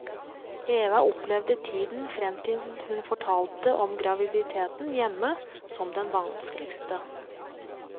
Eva opplevde tiden frem til hun fortalte om graviditeten hjemme som den vanskeligste.